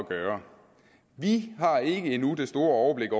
gøre vi har ikke endnu det store overblik